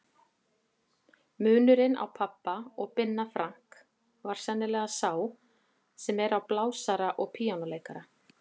Munurinn á pabba og Binna Frank var sennilega sá sem er á blásara og píanóleikara.